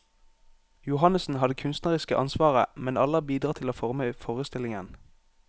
Johannessen har det kunstneriske ansvaret, men alle har bidratt til å forme forestillingen.